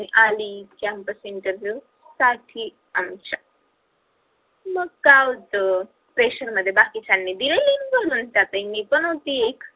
मग काय आली campus interview साठी आमच्या मग काय होत session मध्ये बाकीच्यांनी दिली त्यातही मी पण होती एक